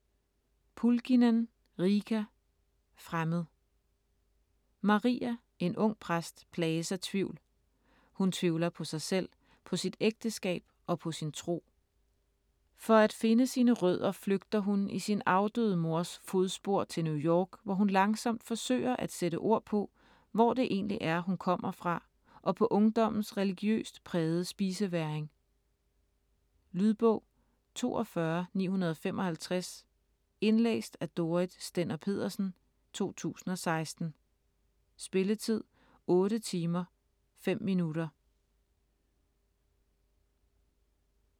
Pulkkinen, Riikka: Fremmed Maria, en ung præst, plages af tvivl. Hun tvivler på sig selv, på sit ægteskab og på sin tro. For at finde sine rødder flygter hun, i sin afdøde mors fodspor, til New York, hvor hun langsomt forsøger at sætte ord på, hvor det egentlig er, hun kommer fra og på ungdommens religiøst prægede spisevægring. Lydbog 42955 Indlæst af Dorrit Stender-Petersen, 2016. Spilletid: 8 timer, 5 minutter.